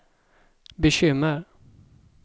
bekymmer